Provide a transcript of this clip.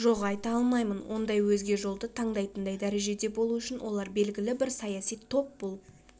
жоқ айта алмаймын ондай өзге жолды таңдайтындай дәрежеде болу үшін олар белгілі бір саяси топ болып